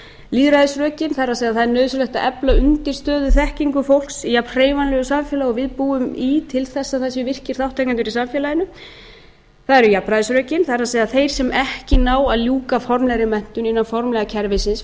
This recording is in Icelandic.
lýðræðisrökin það er að það er nauðsynlegt að efla undirstöðuþekkingu fólks í jafnhreyfanlegu samfélagi og við búum í til þess að það sé virkir þátttakendur í samfélaginu það eru jafnræðisrökin það er að þeir sem ekki ná að ljúka formlegri menntun innan formlega kerfisins